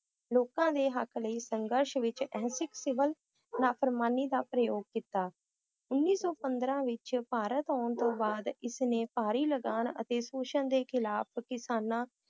ਲੋਕਾਂ ਦੇ ਹਕ ਲਈ ਸੰਘਰਸ਼ ਵਿਚ ਅਹਿੰਸਕ ਸਿਵਲ ਨਾਫਰਮਾਨੀ ਦਾ ਪ੍ਰਯੋਗ ਕੀਤਾ, ਉੱਨੀ ਸੌ ਪੰਦਰਾਂ ਵਿੱਚ ਭਾਰਤ ਆਉਣ ਤੋਂ ਬਾਅਦ ਇਸਨੇ ਭਾਰੀ ਲਗਾਨ ਅਤੇ ਸ਼ੋਸ਼ਨ ਦੇ ਖਿਲਾਫ਼ ਕਿਸਾਨਾਂ